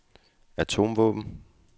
atomvåben